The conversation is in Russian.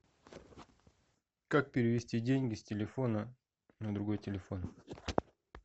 как перевести деньги с телефона на другой телефон